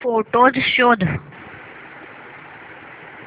photos शोध